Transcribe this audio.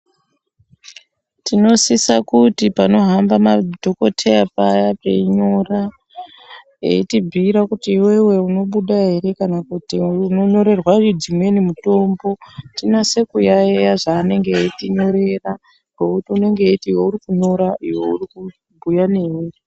Tinosisa kuti panohamba madhokotheya paya peinyora ,eitibhiira kuti iwewe unobuda ere kana kuti unonyorerwa dzimweni mitombo, tinase kuyayiya zvaanenge eitinyorera, ngekuti unenge eiti ,iyo uri kunyora, iyo uri kubhuya newe.